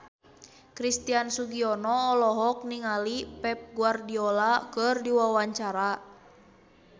Christian Sugiono olohok ningali Pep Guardiola keur diwawancara